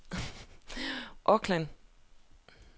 Auckland